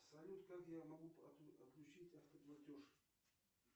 салют как я могу отключить автоплатеж